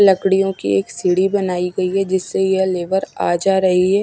लड़कियों की एक सीढ़ी बनाए गई हैं। जिससे ये लेबर आ जा रही है।